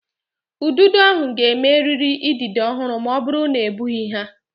Ududo ahụ ga-eme eriri idide ọhụrụ ma ọ bụrụ na egbughị ha.